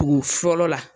Tugu fɔlɔ la